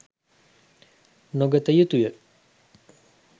නොගත යුතුය.